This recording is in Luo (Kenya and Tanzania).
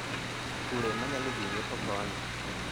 Kure manyalo dhii nyiepo koni